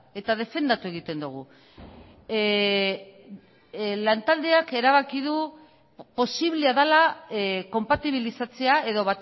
eta defendatu egiten dugu lantaldeak erabaki du posiblea dela konpatibilizatzea edo